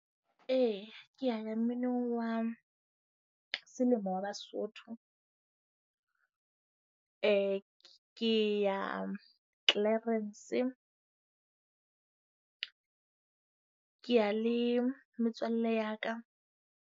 E, ke ya ya mminong wa selemo wa Basotho. Eh ke ya Clarens. Ke ya le metswalle ya ka.